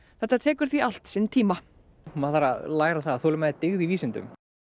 þetta tekur því allt sinn tíma maður þarf að læra það að þolinmæði er dyggð í vísindum